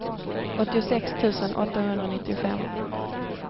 åttiosex tusen åttahundranittiofem